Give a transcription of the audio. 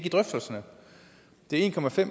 i drøftelserne de en